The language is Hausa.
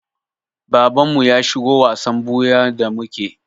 Babanmu ya shigo wasan ɓuyan da muke.